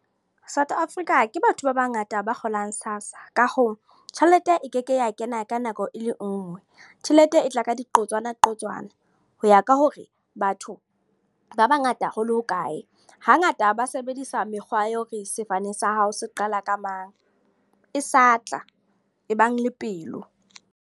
South Africa, ke batho ba bangata ba kgolang SASSA. Ka hoo, tjhelete e ke ke ya kena ka nako e le nngwe. Tjhelete e tla ka diqotswana qotswana. Ho ya ka hore, ba batho ba bangata hole ho kae. Hangata ba sebedisa mekgwa ya hore sefane sa hao se qala ka mang. E sa tla, ebang le pelo.